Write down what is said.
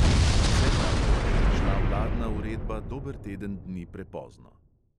Kot vse kaže, pa je prišla vladna uredba dober teden dni prepozno.